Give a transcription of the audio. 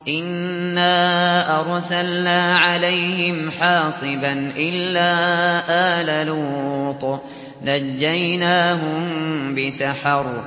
إِنَّا أَرْسَلْنَا عَلَيْهِمْ حَاصِبًا إِلَّا آلَ لُوطٍ ۖ نَّجَّيْنَاهُم بِسَحَرٍ